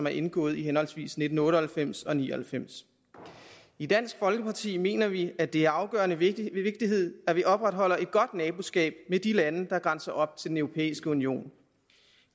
er indgået i henholdsvis nitten otte og halvfems og nitten ni og halvfems i dansk folkeparti mener vi at det er afgørende vigtigt at vi opretholder et godt naboskab med de lande der grænser op til den europæiske union